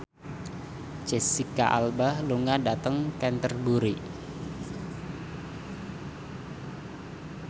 Jesicca Alba lunga dhateng Canterbury